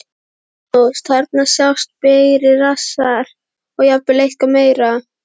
Magnús: Þarna sjást berir rassar og jafnvel eitthvað meira?